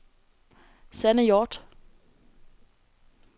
Sanne Hjorth